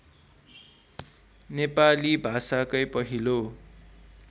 नेपाली भाषाकै पहिलो